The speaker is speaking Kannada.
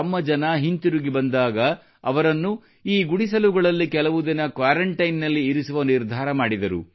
ತಮ್ಮ ಜನ ಹಿಂತಿರುಗಿ ಬಂದಾಗ ಅವರನ್ನು ಈ ಗುಡಿಸಲುಗಳಲ್ಲಿ ಕೆಲವು ದಿನ ಕ್ವಾರಂಟೈನ್ ನಲ್ಲಿ ಇರಿಸುವ ನಿರ್ಧಾರ ಮಾಡಿದರು